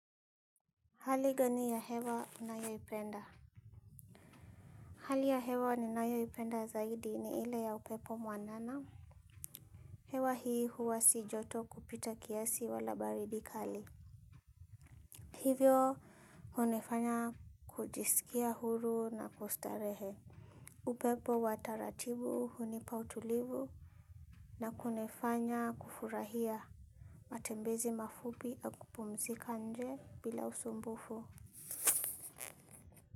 Hali gani ya hewa unayoipenda? Hali ya hewa ninayoipenda zaidi ni ile ya upepo mwanana. Hewa hii huwa si joto kupita kiasi wala baridi kali. Hivyo hunifanya kujisikia huru na kustarehe. Upepo wataratibu hunipa utulivu na kunifanya kufurahia matembezi mafupi na kupumzika nje bila usumbufu.